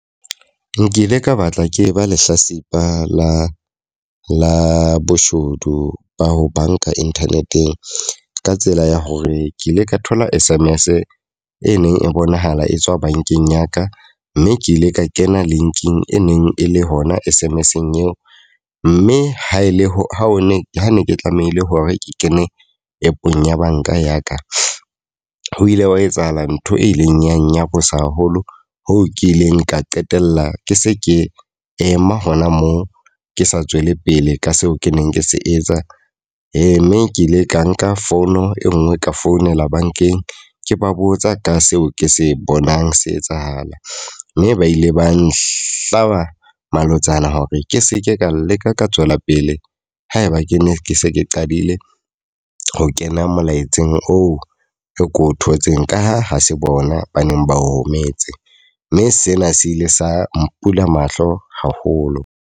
Nkile ka batla ke ba lehlasipa la la boshodu ba ho banka internet-eng. Ka tsela ya hore ke ile ka thola S_M_S e neng e bonahala e tswa bankeng ya ka, mme ke ile ka kena linking e neng e le hona S_M_S-eng eo. Mme ha e le ho ne ho ne ke tlamehile hore ke kene app-ong ya banka ya ka. Ho ile hwa etsahala ntho e ileng ya nyarosa haholo hoo ke ileng ka qetella ke se ke ema hona moo ke sa tswele pele ka seo ke neng ke se etsa. Mme ke ile ka nka fono e nngwe ka founela bankeng, ke ba botsa ka seo ke se bonang se etsahala. Mme ba ile ba nhlaba malotsana hore ke seke ka leka ka tswela pele eleng haeba ke ne ke se ke qadile ho kena molaetseng oo ko o thotseng ka ha ha se bona ba neng ba o rometse. Mme sena se ile sa mpula mahlo haholo.